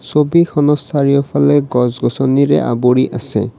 ছবিখনত চাৰিওফালে গছ-গছনীৰে আৱৰি আছে।